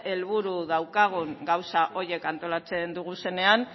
helburu daukagun gauza horiek antolatzen ditugunean